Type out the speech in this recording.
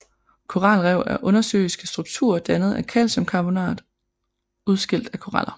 Koralrev er undersøiske strukturer dannet af kalciumkarbonat udskilt af koraller